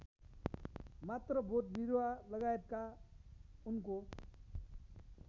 मात्र बोटबिरुवालगायतका उनको